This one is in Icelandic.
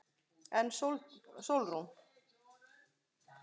En Sólrún?